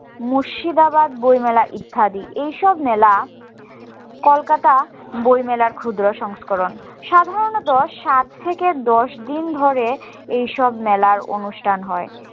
মুর্শিদাবাদ বই মেলা ইত্যাদি এই সব মেলা কলকাতা বই মেলার ক্ষুদ্র সংস্করণ সাধারণত সাত থেকে দশ দিন ধরে এই সব মেলার অনুষ্ঠান হয়